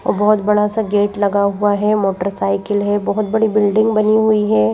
और बहुत बड़ा सा गेट लगा हुआ है मोटरसाइकिल है बहुत बड़ी बिल्डिंग बनी हुई है।